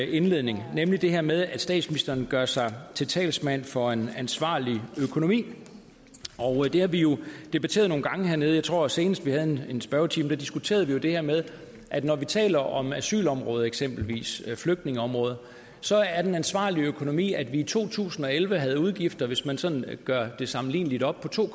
indledning nemlig det her med at statsministeren gør sig til talsmand for en ansvarlig økonomi det har vi jo debatteret nogle gange hernede jeg tror at senest vi havde en spørgetime diskuterede vi det her med at når vi taler om asylområdet eksempelvis flygtningeområdet så er den ansvarlige økonomi at vi i to tusind og elleve havde udgifter hvis man sådan gør det sammenligneligt op på to